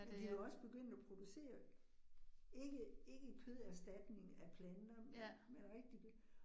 Men de jo også begyndt at producere, ikke ikke køderstatning af planter, men rigtig